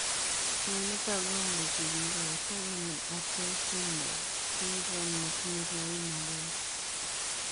Mionitok komuchii kigoitoo kobuun atosomol sindrom netinyee lain agenge.